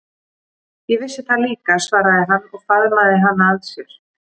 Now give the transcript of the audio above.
Ég vissi það líka, svaraði hann og faðmaði hana að sér.